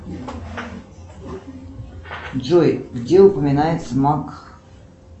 джой где упоминается мак